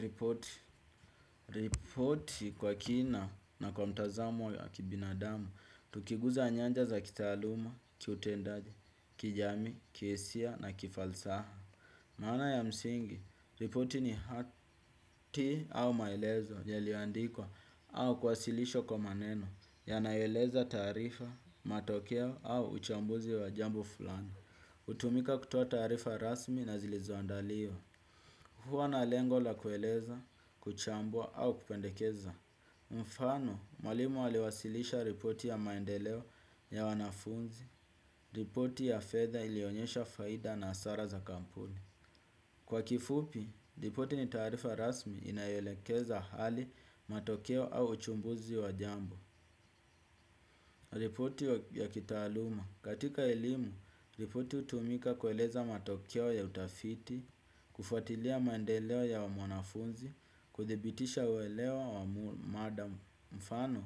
Ripoti, ripoti kwa kina na kwa mtazamo ya kibinadamu, tukiguza nyanja za kitaaluma, kiutendaji, kijamii, kihisia na kifalsaha. Maana ya msingi, ripoti ni hati au maelezo, yaliyoandikwa au kuwasilishwa kwa maneno, yanaeleza taarifa, matokeo au uchambuzi wa jambo fulani. Hutumika kutoa taarifa rasmi na zilizoandaliwa. Huwa na lengo la kueleza, kuchambua au kupendekeza. Mfano, mwalimu aliwasilisha ripoti ya maendeleo ya wanafunzi. Ripoti ya fedha ilionyesha faida na hasara za kampuni. Kwa kifupi, ripoti ni taarifa rasmi inayoelekeza hali matokeo au uchumbuzi wa jambo. Ripoti ya kitaaluma. Katika elimu, ripoti hutumika kueleza matokeo ya utafiti, kufuatilia maendeleo ya mwanafunzi kuthibitisha uwelewa wa madam. Mfano,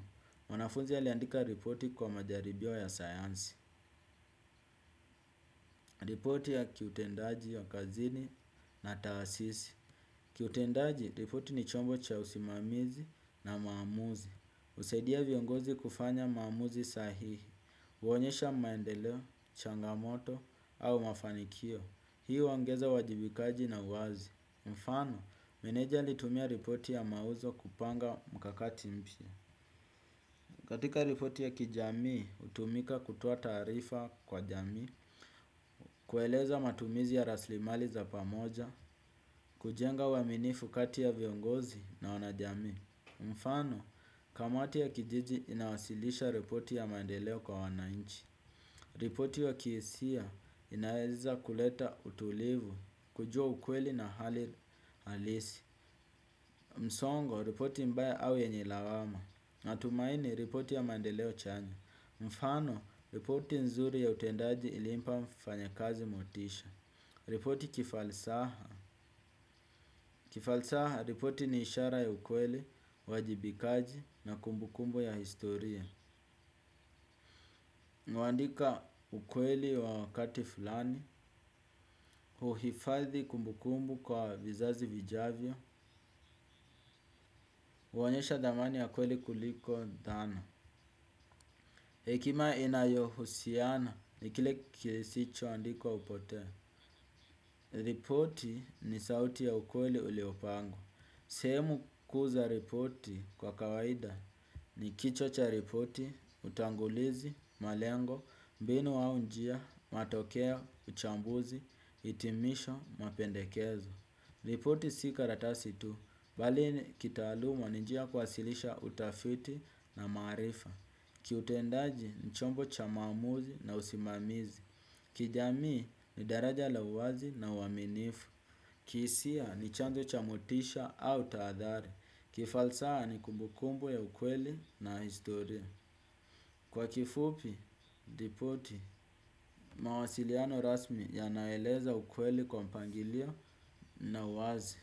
mwanafunzi aliandika ripoti kwa majaribio ya sayansi. Ripoti ya kiutendaji ya kazini na taasisi kiutendaji, ripoti ni chombo cha usimamizi na maamuzi husaidia viongozi kufanya maamuzi sahihi huonyesha maendeleo, changamoto au mafanikio. Hii huongeza wajibikaji na uwazi. Mfano, meneja alitumia ripoti ya mauzo kupanga mkakati mpya. Katika ripoti ya kijamii, hutumika kutoa taarifa kwa jamii, kueleza matumizi ya raslimali za pamoja, kujenga uaminifu kati ya viongozi na wanajamii. Mfano, kamati ya kijiji inawasilisha ripoti ya maendeleo kwa wananchi. Ripoti wa kiesia inaeza kuleta utulivu, kujua ukweli na hali halisi. Msongo, ripoti mbaya au yenye lawama natumaini, ripoti ya maendeleo chanya mfano, ripoti nzuri ya utendaji ilimpa mfanyakazi motisha. Ripoti kifalsaha kifalsaha, ripoti ni ishara ya ukweli, wajibikaji na kumbukumbu ya historia huandika ukweli wa kati fulani, uhifadhi kumbukumbu kwa vizazi vijavyo huonyesha dhamani ya ukweli kuliko dhana. Hekima inayohusiana ni kile kisicho andikwa hupotea. Ripoti ni sauti ya ukweli uliopangwa. Sehemu kuu za ripoti kwa kawaida ni kichwa cha ripoti, utangulizi, malengo, mbinu au njia, matokeo, uchambuzi, hitimisho, mapendekezo. Ripoti si karatasi tu, bali ni kitaaluma ni njia kuwasilisha utafiti na maarifa. Kiutendaji ni chombo cha maamuzi na usimamizi. Kijamii ni daraja la wazi na uaminifu. Kihisia ni chanjo cha motisha au taadhari. Kifalsaha ni kumbukumbu ya ukweli na historia. Kwa kifupi, ripoti, mawasiliano rasmi yanaeleza ukweli kwa mpangilio na wazi.